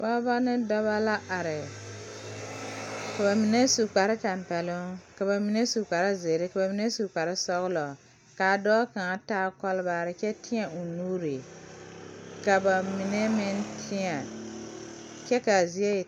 Pɔɔbɔ ne dɔbɔ la are ka ba mine su kparetampɛloŋ ka mine su kparezeere ka ba mine su kparesɔglɔ kaa dɔɔ kaŋa taa kɔlbaarre kyɛ teɛ o nuure ka ba mine meŋ teɛ kyɛ kaa zie e.